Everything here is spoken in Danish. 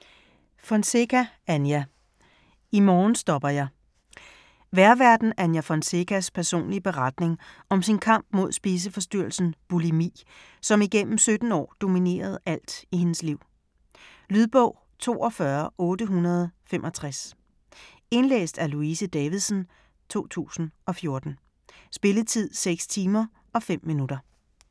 Fonseca, Anja: I morgen stopper jeg Vejrværten Anja Fonsecas (f. 1977) personlige beretning om sin kamp mod spiseforstyrrelsen bulimi, som igennem 17 år dominerede alt i hendes liv. Lydbog 42865 Indlæst af Louise Davidsen, 2014. Spilletid: 6 timer, 5 minutter.